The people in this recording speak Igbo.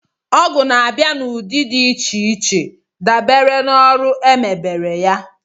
Ọgụ na-abịa n'ụdị dị iche iche dabere na ọrụ e mebére ya